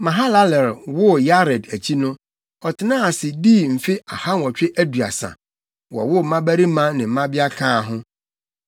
Mahalalel woo Yared akyi no, ɔtenaa ase, dii mfe ahanwɔtwe aduasa, wowoo mmabarima ne mmabea kaa ho.